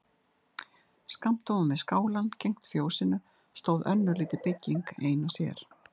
Skammt ofan við skálann gegnt fjósinu stóð önnur lítil bygging ein og sér.